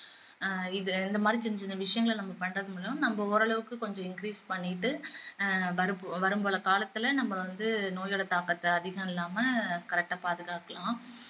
ஆஹ் இது இந்த மாதிரி சின்ன சின்ன விஷயங்களை நம்ம பண்றதன் மூலம் நம்ம ஓரளவுக்கு கொஞ்சம் increase பண்ணீட்டு ஆஹ் வரும் பல காலத்துல நம்ம வந்து நோய்களோட தாக்கத்தை அதிகம் இல்லாம correct ஆ பாதுகாக்கலாம்